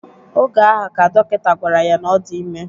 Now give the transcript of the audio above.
Oge ahụ, ka dọkịta gwara ya na ọ dị ime